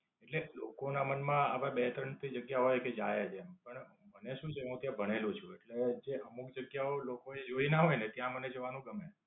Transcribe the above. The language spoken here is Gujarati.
એટલે લોકો ના મન માં આવા બે ત્રણ થી કે જાય એમ. મને શું છે હું ત્યાં ભણેલો છું. એટલે જે અમુક જગ્યા લોકોએ જોયી ના હોય ને ત્યાં મને જવાનું ગમે.